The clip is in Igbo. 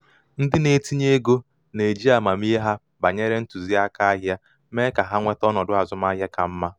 ndị na-etinye ego na-eji amamihe ha banyere ntụziaka ahịa mee ka ha nweta ọnọdụ azụmaahịa ka mma.